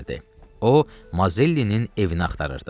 O, Mazellinin evini axtarırdı.